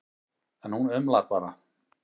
En hún umlar bara.